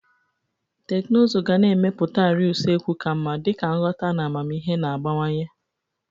Teknụzụ ga na-emepụta arịa usekwu ka mma dịka nghọta na amamihe na-agbawanye.